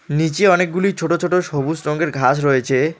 নীচে অনেকগুলি ছোট ছোট সবুজ রঙের ঘাস রয়েছে।